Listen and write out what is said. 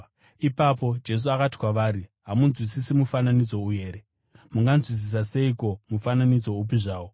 Ipapo Jesu akati kwavari, “Hamunzwisisi mufananidzo uyu here? Munganzwisisa seiko mufananidzo upi zvawo?